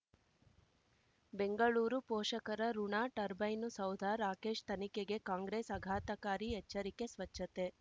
ಬೆಂಗಳೂರು ಪೋಷಕರಋಣ ಟರ್ಬೈನು ಸೌಧ ರಾಕೇಶ್ ತನಿಖೆಗೆ ಕಾಂಗ್ರೆಸ್ ಆಘಾತಕಾರಿ ಎಚ್ಚರಿಕೆ ಸ್ವಚ್ಛತೆ